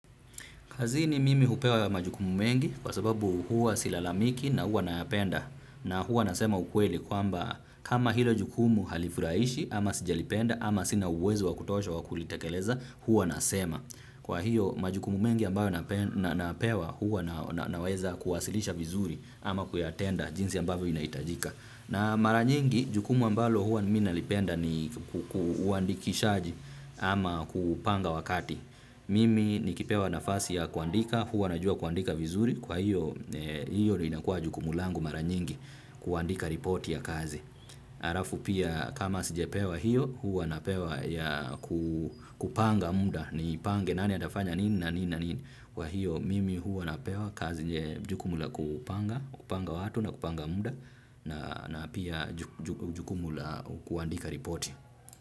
Kazini mimi hupewa ya majukumu mengi kwa sababu huwa silalamiki na huwa nayapenda na huwa nasema ukweli kwamba kama hilo jukumu halifurahishi ama sijalipenda ama sina uwezo wa kutosha wa kulitekeleza huwa nasema. Kwa hiyo majukumu mengi ambayo napewa huwa naweza kuwasilisha vizuri ama kuyatenda jinsi ambayo inaitajika. Na maranyingi, jukumu ambalo huwa mina lipenda ni uandikishaji ama kupanga wakati. Mimi nikipewa nafasi ya kuandika, huwa najua kuandika vizuri, kwa hiyo ni inakua jukumu langu mara nyingi kuandika ripoti ya kazi. Halafu pia kama sijepewa hiyo huwa napewa ya kupanga muda ni pange nani atafanya nini na nini wa hiyo mimi huwa napewa kazi jukumu la kupanga watu na kupanga muda na pia jukumu la kuandika ripoti.